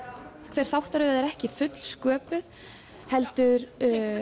hver þáttaröð er ekki fullsköpuð heldur